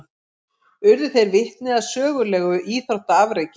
Urðu þeir vitni að sögulegu íþróttaafreki